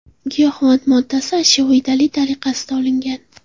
Giyohvand moddasi ashyoviy dalil tariqasida olingan.